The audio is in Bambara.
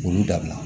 K'olu dabila